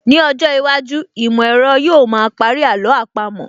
Ní ọjọ́ iwájú, ìmọ̀ ẹ̀rọ yóò ma parí àló àpamọ́